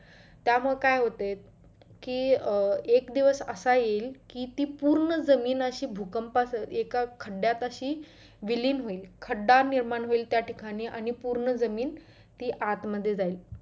त्यामुळे काय होतंय कि अं एक दिवस असा येईल कि ती पूर्ण जमीन अशी भूकंपा सा एका खड्यात अशी विलीन होईल खडा निर्माण होईल त्या ठिकाणी आणि पूर्ण जमीन ती आत मध्ये जाईल.